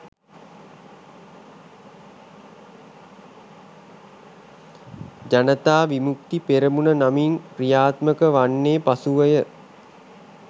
ජනතා විමුක්ති පෙරමුණ නමින් ක්‍රියාත්මක වන්නේ පසුවය.